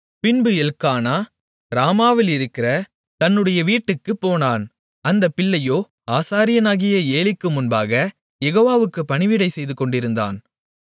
பின்பு எல்க்கானா ராமாவிலிருக்கிற தன்னுடைய வீட்டுக்குப்போனான் அந்தப் பிள்ளையோ ஆசாரியனாகிய ஏலிக்கு முன்பாகக் யெகோவாவுக்குப் பணிவிடை செய்துகொண்டிருந்தான்